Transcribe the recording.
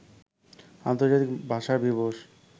আন্তর্জাতিক ভাষা দিবস